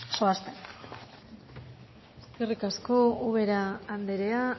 zoazten eskerrik asko ubera andrea